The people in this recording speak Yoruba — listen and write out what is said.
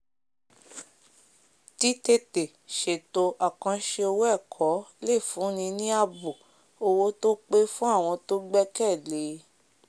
títètè ṣèto àkànṣe owó ẹ̀kọ lè fúnni ní ààbò owó tó pé fún àwọn tó gbẹ́kẹ̀lé e